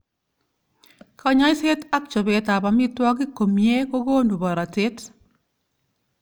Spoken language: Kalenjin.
Kanyoiset ak chobet ab amitwokik komyee kokonu borotet.